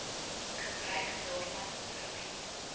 gebruik daarvan verbied